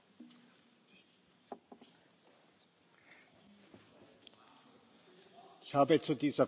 Ich habe zu dieser Frage bereits Stellung genommen, und ich wurde darüber so informiert.